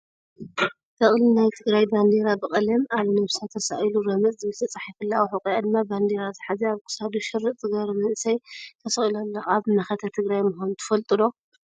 በቅሊ ናይ ትግራይ ባንዴራ ብቀለም ኣብ ነብሳ ተሳኢሉ ረመፅ ዝብል ተፃሒፉላ ኣብ ሕቆኣ ድማ ባንዴራ ዝሓዘ ኣብ ክሳዱ ሽርጥ ዝገበረ መንእሰይ ተሰቅሉ ኣሎ። ኣብ መከተ ትግራይ ምኳኑ ትፈልጡ ዶ?